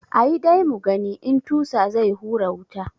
Ayi dai mugani in tusa zai hura wuta.